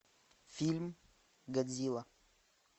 фильм годзилла